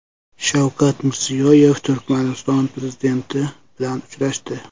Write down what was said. Shavkat Mirziyoyev Turkmaniston prezidenti bilan uchrashdi.